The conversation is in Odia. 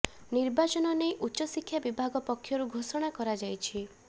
ନିର୍ବାଚନ ନେଇ ଉଚ୍ଚ ଶିକ୍ଷା ବିଭାଗ ପକ୍ଷରୁ ଘୋଷଣା କରାଯାଇଛି